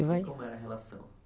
E como era a relação